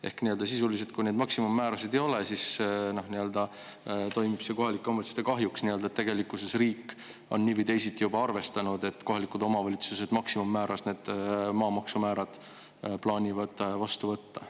Ehk sisuliselt, kui maksimummäära ei, siis toimib see kohalike omavalitsuste kahjuks, sest tegelikkuses on riik nii või teisiti juba arvestanud, et kohalikud omavalitsused plaanivad maamaksu maksimummäärad vastu võtta.